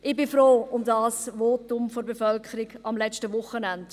Ich bin froh um dieses Votum der Bevölkerung am letzten Wochenende.